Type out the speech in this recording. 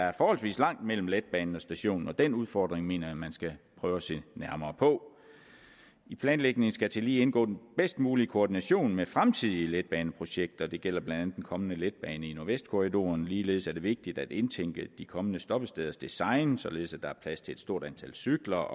er forholdsvis langt mellem letbanen og stationen og den udfordring mener jeg man skal prøve at se nærmere på i planlægningen skal tillige indgå den bedst mulige koordination med fremtidige letbaneprojekter det gælder blandt andet den kommende letbane i nordvestkorridoren ligeledes er det vigtigt at indtænke de kommende stoppesteders design således at der er plads til et stort antal cykler